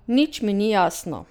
Nič mi ni jasno.